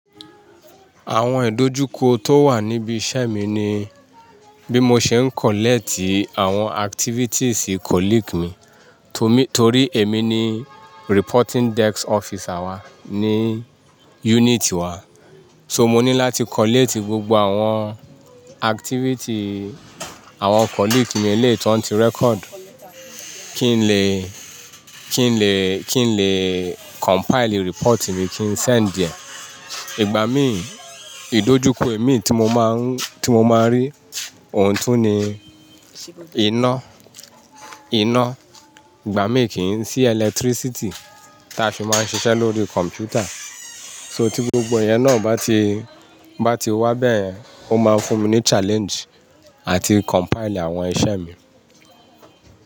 Àwọn ìdojúkọ tó wà níbi iṣẹ́ mi ni bí mo ṣe ń gba àwọn iṣẹ́ ṣiṣẹ a la bá ṣiṣẹ mi torí èmi ni aseju tó gba ìròyìn wa ẹyọkan wa. So mo ní láti gba gbogbo àwọn àṣàyàn iṣẹ́ ṣiṣẹ àwọn ẹlẹgbẹ́ mi léètọ́ n ti ṣe àkọsílẹ̀ kí n lè, kí n lè, kí n lè kójọpọ̀ ìròyìn mi kí n fìránṣẹ́ ìgbà mí ìdojúkọ èmiran tí mo máa ń rí, tí mo máa ń rí òun tún ni iná, iná. Ìgbà mí kì í sí iná ìjọba tí a fi máa ń ṣiṣẹ́ lórí kọ̀mpútà tí gbogbo ìyẹn náà bá ti, bá ti wá bẹ́ẹ̀ yẹn, ó máa fún mi ní ìdojúkọ láti àkójọpọ̀ àwọn iṣẹ́ mi.